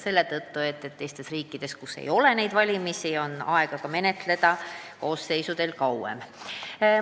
Teistes riikides, kus praegu valimisi pole, on koosseisudel kauem aega eelnõu menetleda.